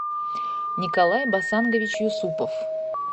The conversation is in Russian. николай басангович юсупов